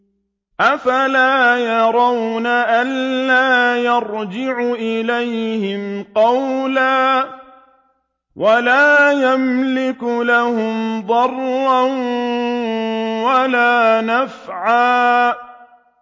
أَفَلَا يَرَوْنَ أَلَّا يَرْجِعُ إِلَيْهِمْ قَوْلًا وَلَا يَمْلِكُ لَهُمْ ضَرًّا وَلَا نَفْعًا